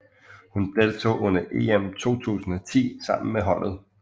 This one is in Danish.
Hun deltog under EM 2010 sammen med holdet